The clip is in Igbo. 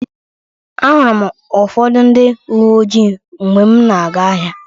Ahụrụ m ụfọdụ ndị uwe ojii mgbe m na-aga ahịa.